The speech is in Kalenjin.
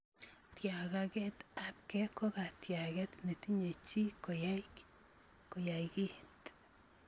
Tyakakeetaabkei ko katyaaket ne tinye chi koyai kit